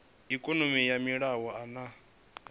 ikonomi ya maiimo a nha